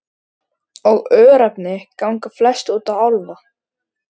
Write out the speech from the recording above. Og örnefni ganga flest út á álfa.